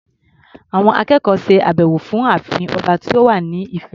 Àwọn akẹ́kọ̀ọ́ ṣe àbẹ̀wọ̀ sí ààfin ọba tó wà ní Ifẹ̀.